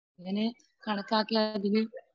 അതിനെ കണക്കാക്കി അതിനെ